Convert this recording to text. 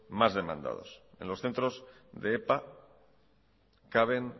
más demandados en los centros de epa caben